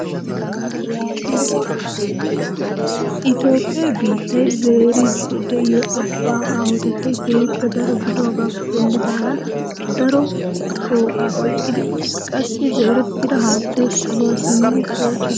Itoophphee biittiyaa zeerayda de'iyoo abbaa aahotettay keehippe daro gidogappe denddidagan daro shooqaa oyqqi uttiis. qassi zeerettida haattay saluwaa simmidi pociidi de'ees.